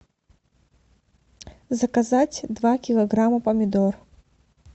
заказать два килограмма помидор